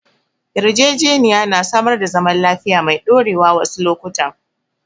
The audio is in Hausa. Yarjejeniya na samar da zaman lafiya mai ɗorewa wasu lokutan.